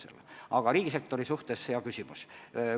Aga küsimus riigisektori töötajate kohta oli väga hea küsimus.